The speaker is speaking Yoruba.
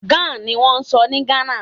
Gá niwọ́n ń sọ ní Ghana.